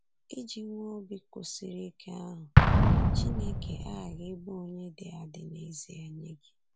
Iji nwee obi kwụsịrị ike ahụ, Chineke aghaghị ịbụ onye dị adị n’ezie nye gị!